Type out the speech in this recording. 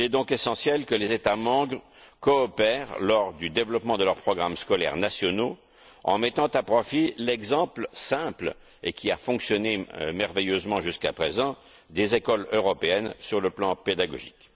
Il est donc essentiel que les États membres coopèrent lors du développement de leurs programmes scolaires nationaux en mettant à profit l'exemple simple, et qui a fonctionné merveilleusement jusqu'à présent, des écoles européennes sur le plan pédagogique.